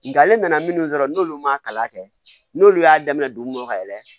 Nka ale nana minnu sɔrɔ n'olu ma kalan kɛ n'olu y'a daminɛ dugu kɔnɔ ka yɛlɛ